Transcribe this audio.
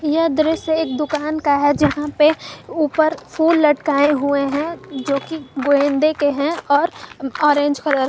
यह दृश्य एक दुकान का है यहां पे ऊपर फूल लटकाए हुए हैं जो कि गेंदे के हैं और ऑरेंज कलर --